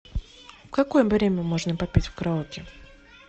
в какое время можно попеть в караоке